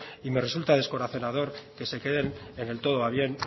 y me resultar descorazonador que se queden en el todo va bien